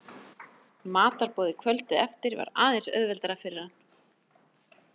Matarboðið kvöldið eftir var aðeins auðveldara fyrir hann.